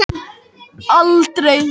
Hann getur tekið sig upp og farið á flakk.